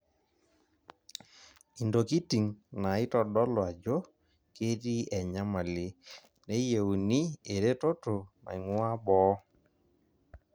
Intokiting' naaitodolu ajo ketii enyamali, neyieuni eretoto naing'ua boo.